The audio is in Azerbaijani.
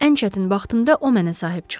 Ən çətin vaxtımda o mənə sahib çıxdı.